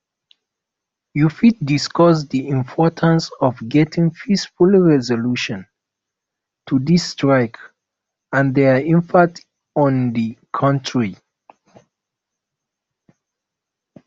you fit discuss di importance of getting peaceful resolution to di strike and dia impact on di country